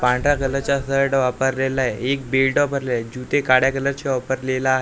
पांढऱ्या कलरचा शर्ट वापरलेला आहे एक बेल्ट वापरलेला आहे जुते काळ्या कलरचे वापरलेला आहे.